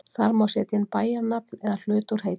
Þar má setja inn bæjarnafn eða hluta út heiti.